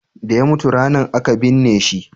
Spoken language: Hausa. da ya mutu ranan a ka binne shi?